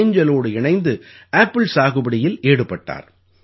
ஏஞ்ஜலோடு இணைந்து ஆப்பிள் சாகுபடியில் ஈடுபட்டார்